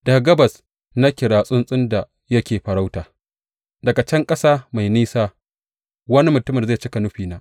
Daga gabas na kira tsuntsun da yake farauta; daga can ƙasa mai nesa, wani mutumin da zai cika nufina.